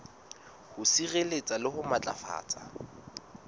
ho sireletsa le ho matlafatsa